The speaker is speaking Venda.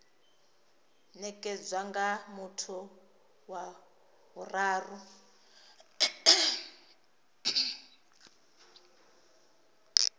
nekedzwa nga muthu wa vhuraru